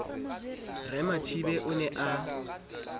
re mathibe o ne a